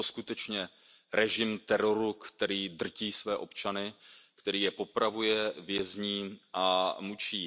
Je to skutečně režim teroru, který drtí své občany, který je popravuje, vězní a mučí.